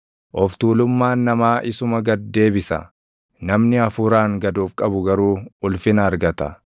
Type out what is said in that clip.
Of tuulummaan namaa isuma gad deebisa; namni hafuuraan gad of qabu garuu ulfina argata.